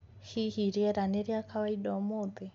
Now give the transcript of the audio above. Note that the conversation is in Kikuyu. hĩhĩ rĩera ni ria kawaida ũmũthĩ